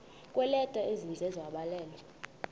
kweeleta ezininzi ezabhalelwa